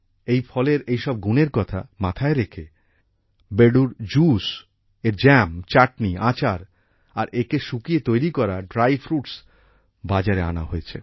এই ফলের এইসব গুণের কথা মাথায় রেখে বেডুর জুস এর জ্যাম চাটনী আচার আর একে শুকিয়ে তৈরি করা ড্রাই ফ্রুটস বাজারে আনা হয়েছে